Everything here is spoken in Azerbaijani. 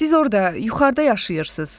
Siz orada yuxarıda yaşayırsınız.